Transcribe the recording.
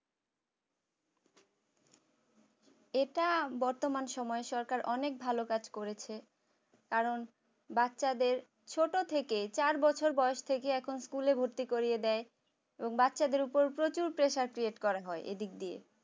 এটা বর্তমান সময়ে সরকার অনেক ভালো কাজ করেছে কারণ বাচ্চাদের ছোট থেকে চার বছর বয়স থেকে এখন school এ ভর্তি করিয়ে দেয় বাচ্চাদের উপর প্রচুর pressure create এদিক দিয়ে